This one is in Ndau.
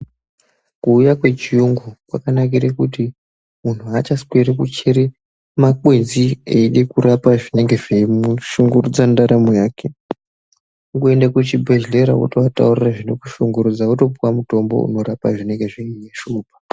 Kuuya kwechiyungu kwakanakire kuti muntu achasweri kuchere makwenzi eide kurapa zvinenge zveimushungurudza mundaramo yake. Kungoende kuchibhedhlera wotooataurira zvinokushungurudza wotopuwa mutombo inorapa zvinenge zveishupa.